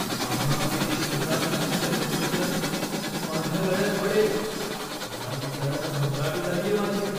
माझ्या अपेक्षेनुसार नसलेलं फर्निचर माझ्या गळ्यात पडेल या विचारानं घबराट उडालीये माझी.